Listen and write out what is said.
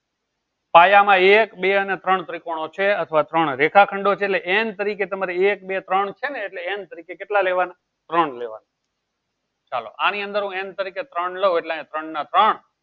પાયામાં એક બે અને ત્રણ ત્રિકોણ છે અથવા ત્રણ રેખાખંડો છે એટલે n તરીકે તમારી એક બે ત્રણ છે ને એટલે n તરીકે કેટલા લેવાના ત્રણ લેવાના ચાલો આની અંદર n તરીકે લઉં એટલે યા ત્રણ ના ત્રણ